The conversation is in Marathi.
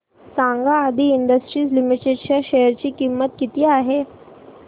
सांगा आदी इंडस्ट्रीज लिमिटेड च्या शेअर ची किंमत किती आहे